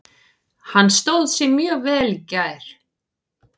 Hann stóð sig mjög vel í gær.